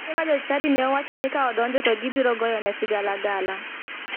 Mine ma jochadi ne owacho ni ka odonjo to gibiro goyone sigalagala